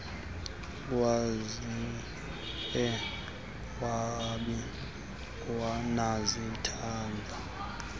wakhiwe awabi nazitanza